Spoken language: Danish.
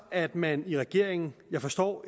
at man i regeringen jeg forstår